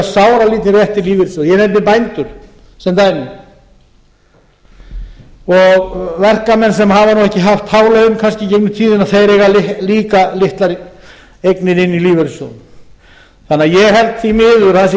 sáralítinn rétt í lífeyrissjóði ég nefni bændur sem dæmi og verkamenn sem hafa ekki haft hávaða í gegnum tíðina eira líka litlar eignir inni í lífeyrissjóði þannig að ég held því miður að það verði